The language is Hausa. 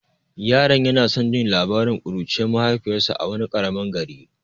Yaron yana son jin labarin kuruciyar mahaifiyarsa a wani karamin gari.